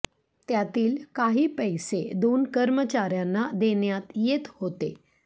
त्यातील काही पैसे दोन कर्मचार्यांना देण्यात येत होते